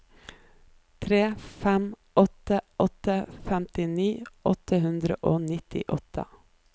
tre fem åtte åtte femtini åtte hundre og nittiåtte